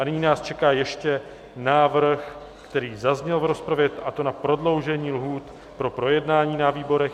A nyní nás čeká ještě návrh, který zazněl v rozpravě, a to na prodloužení lhůt pro projednání na výborech.